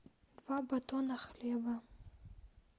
два батона хлеба